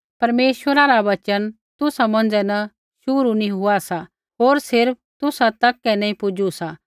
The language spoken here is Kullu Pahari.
परमेश्वरै रा वचन तुसा मौंझ़ै न शुरु नी हुआ सा होर सिर्फ़ तुसा तक ही नैंई पुजू सा